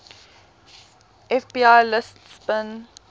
fbi lists bin